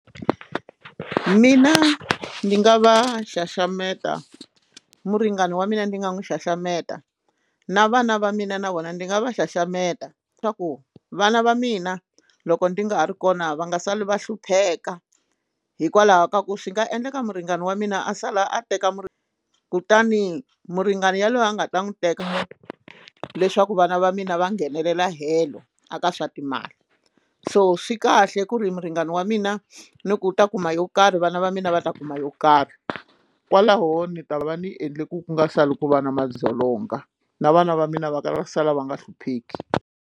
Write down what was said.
Mina ndzi nga va xaxameta muringani wa mina ndzi nga n'wi xaxameta na vana va mina na vona ndzi nga va xaxameta swa ku vana va mina loko ndzi nga ha ri kona va nga sali va hlupheka hikwalaho ka ku swi nga endleka muringani wa mina a sala a teka muri kutani muringani yaloye a nga ta n'wi teka leswaku vana va mina va nghenelela helo a ka swa timali so swi kahle ku ri muringani wa mina ni ku ta kuma yo karhi vana va mina va ta kuma yo karhi kwalaho ni ta va ndzi endle ku nga sali ku va na madzolonga na vana va mina va karhi va sala va nga hlupheki.